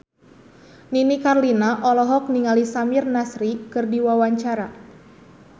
Nini Carlina olohok ningali Samir Nasri keur diwawancara